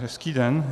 Hezký den.